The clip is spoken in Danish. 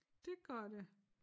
Det gør det